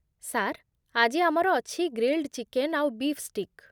Sir, ଆଜି ଆମର ଅଛି ଗ୍ରିଲ୍ଡ ଚିକେନ୍ ଆଉ ବୀଫ୍ ଷ୍ଟିକ୍ ।